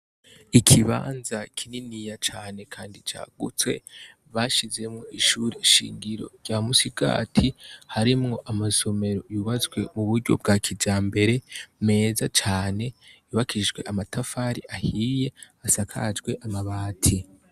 Ikibanza kininiya cane, kandi cagutswe bashizemwo ishuri shingiro rya musigati harimwo amasomero yubatswe mu buryo bwa kija mbere meza cane bibakishijwe amatafari ahiye asakajwe amabati.